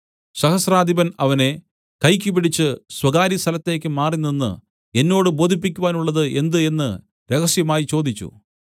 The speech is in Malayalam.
സഹസ്രാധിപൻ അവനെ കൈയ്ക്ക് പിടിച്ച് സ്വകാര്യസ്ഥലത്തേക്ക് മാറിനിന്ന് എന്നോട് ബോധിപ്പിക്കുവാനുള്ളത് എന്ത് എന്ന് രഹസ്യമായി ചോദിച്ചു